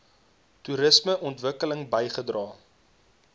toerisme ontwikkeling bygedra